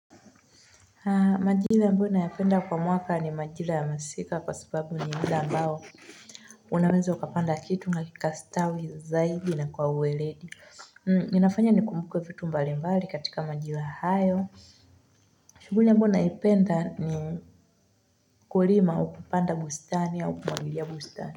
Majira ambayo nayapenda kwa mwaka ni majira ya masika kwa sababu ni hali ambayo unaweza ukapanda kitu nakikastawi zaidi na kwa uweledi. Ninafanya nikumbuke vitu mbalimbali katika majira hayo. Shughuli ambayo naipenda ni kulima au kupanda bustani au kumwagilia bustani.